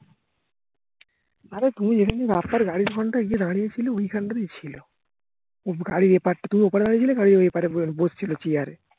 অরে তুমি যেদিন রাস্তার গাড়ির কোনটায় গিয়ে দাঁড়িয়েছিলে ঐখানটাতেই ছিল গাড়ির এপার থেকে ওপার হয়েছিল গাড়ির ঐপারে বসে ছিল চিয়ারে